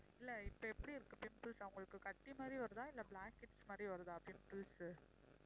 இல்ல இப்ப எப்படி இருக்கு pimples அவங்களுக்கு கட்டி மாதிரி வருதா இல்ல மாதிரி வருதா pimples உ